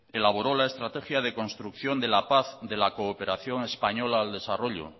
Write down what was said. que elaboró la estrategia de construcción de la paz de la cooperación española al desarrollo